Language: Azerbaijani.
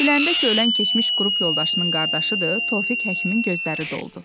Biləndə ki, ölən keçmiş qrup yoldaşının qardaşıdır, Tofiq həkimin gözləri doldu.